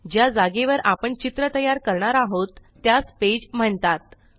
ज्या जागेवर आपण चित्र तयार करणार आहोत त्यास पेज म्हणतात